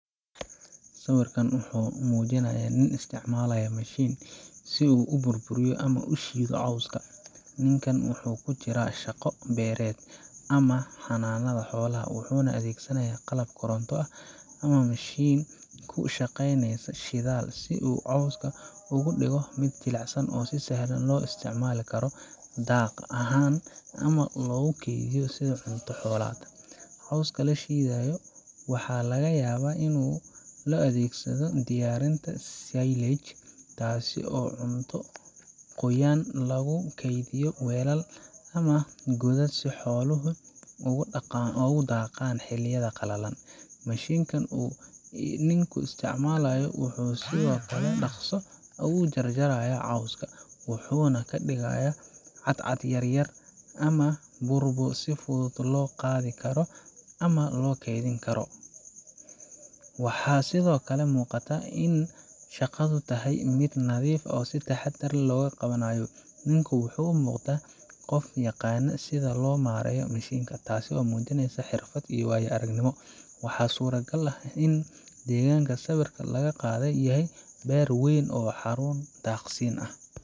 Sawirkan wuxuu muujinayaa nin isticmaalaya mashiin si uu u burburiyo ama u shiido cawska. Ninkan wuxuu ku jiraa shaqo beereed ama xanaanada xoolaha, wuxuuna adeegsanayaa qalab koronto ama mishiin ku shaqeeya shidaal si uu cawska uga dhigo mid jilicsan oo sahlan in loo isticmaalo daaq ahaan ama loogu kaydiyo sidii cunto xoolaad. Cawska la shiidayo waxaa laga yaabaa in loo adeegsanayo diyaarinta silage taasoo ah cunto qoyan oo lagu kaydiyo weelal ama godad si xooluhu ugu daaqaan xilliyada qalalan. Mashiinka uu ninku isticmaalayo wuxuu si dhaqso ah u jarjarayaa cawska, wuxuuna ka dhigayaa cadcad yaryar ama burbur si fudud loo qaadi karo ama loo kaydin karo. Waxaa sidoo kale muuqata in shaqadu tahay mid nadiif ah oo si taxaddar leh loo qabanayo. Ninku wuxuu u muuqdaa qof yaqaan sida loo maareeyo mashiinka, taasoo muujinaysa xirfad iyo waayo-aragnimo. Waxaa suuragal ah in deegaanka sawirka laga qaaday yahay beer weyn ama xarun daaqsiin ah.